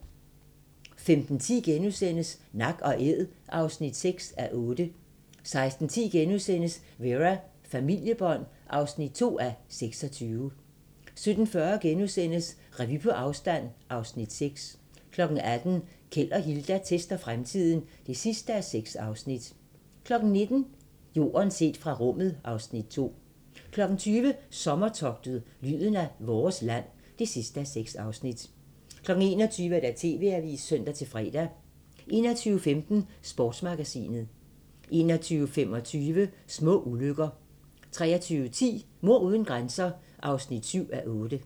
15:10: Nak & Æd (6:8)* 16:10: Vera: Familiebånd (2:26)* 17:40: Revy på afstand (Afs. 6)* 18:00: Keld og Hilda tester fremtiden (6:6) 19:00: Jorden set fra rummet (Afs. 2) 20:00: Sommertogtet – lyden af vores land (6:6) 21:00: TV-avisen (søn-fre) 21:15: Sportsmagasinet 21:25: Små ulykker 23:10: Mord uden grænser (7:8)